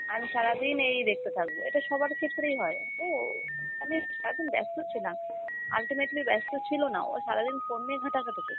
আমি সারাদিন এই দেখতে থাকব, এটা সবার ক্ষেত্রেই হয়। ও আমি সারাদিন ব্যস্ত ছিলাম, ultimately ব্যস্ত ছিল না ও সারাদিন phone নিয়ে ঘাটাঘাটি করছে,